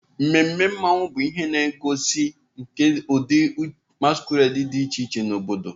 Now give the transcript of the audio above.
Ememe Mmanwu bụ ihe ngosi nke ụdị masquerade dị iche iche na obodo.